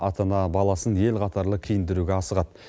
ата ана баласын ел қатарлы киіндіруге асығады